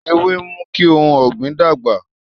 Ewé ń mú kí ohun ọ̀gbìn dàgbà